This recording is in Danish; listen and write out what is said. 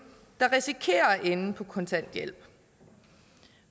der risikerer at ende på kontanthjælp